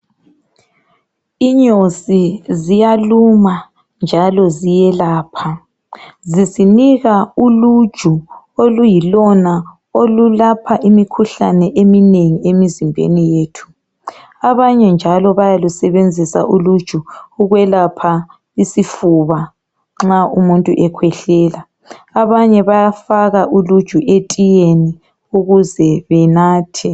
Inyosi ziyaluma njalo ziyelapha. Zisinika uluju oluyilona olulapha imikhuhlane eminengi emizimbeni yethu. Abanye njalo bayalusebenzisa uluju ukwelapha isifuba nxa umuntu ekhwehlela. Abanye balufaka etiyeni ukuze benathe.